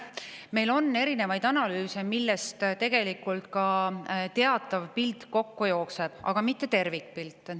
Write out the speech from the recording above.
Meil on erinevaid analüüse, millest tegelikult ka teatav pilt kokku jookseb, aga mitte tervikpilt.